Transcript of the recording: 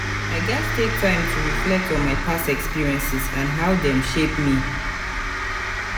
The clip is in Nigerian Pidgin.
i gats take time to reflect on my past experiences and how dem shape me.